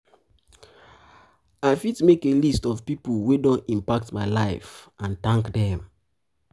i fit fit make a list of pipo wey don impact my life and thank dem.